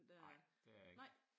Ej det er jeg ik